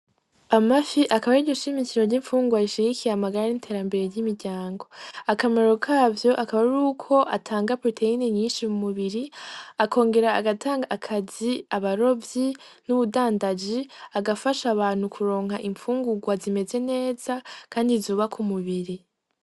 Amafi akaba ariryo shimikiro ry'impfunguwa rishigikiye amagara n'interambere ry'imiryango, akamaro kavyo akaba ari uko atanga proteyini nyinshi mu mubiri akongera agatanga akazi abarovyi n'ubudandaji agafasha abantu kuronka impfungurwa zimeze neza, kandi zubaka umubiri.